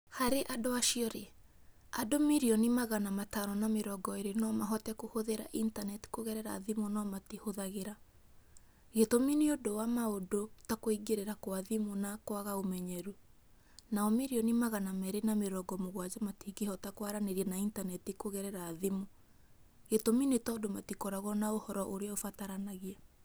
Harĩ acio-rĩ ,andũ mirioni magana matano na mĩrongo ĩĩrĩ no mahote kũhũthĩra intaneti kũgerera thimũ no matihũthagĩra. Gĩtũmi nĩ ũndũ wa maũndũ ta kũingĩrĩra kwa thimũ na kwaga ũmenyeru. Nao mirioni magana meerĩ na mĩrongo mũgwanja matingĩhota kwaranĩria na intaneti kũgerera thimũ. Gĩtũmi nĩ tondũ matikoragwo na ũhoro ũrĩa ũbataranagia.